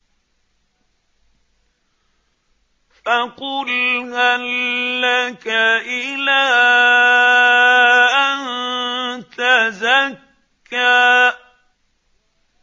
فَقُلْ هَل لَّكَ إِلَىٰ أَن تَزَكَّىٰ